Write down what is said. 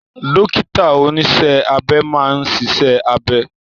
Dókítà oníṣẹ́ abẹ máa ń ṣiṣẹ́ abẹ